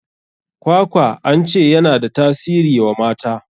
Kwakwa an ce ya na da tasiri wa mata.